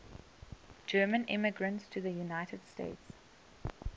german immigrants to the united states